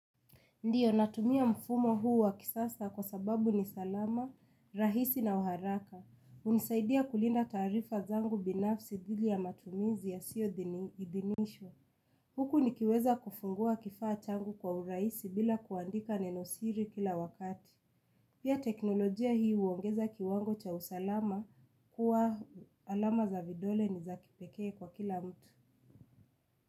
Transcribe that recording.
Ndio natumia mfumo huu wakisasa, kwa sababu ni salama, rahisi na uharaka. Unisaidia kulinda taarifa zangu binafsi dhili ya matumizi ya siyo idinishwa. Huku nikiweza kufungua kifaa changu kwa urahisi bila kuandika nenosiri kila wakati. Pia, teknolojia hiu uongeza kiwango cha usalama kuwa alama za vidole ni za kipekee kwa kila mtu.